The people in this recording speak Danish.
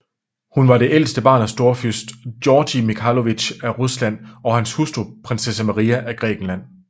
Hun var det ældste barn af storfyrst Georgij Mikhailovitj af Rusland og hans hustru prinsesse Maria af Grækenland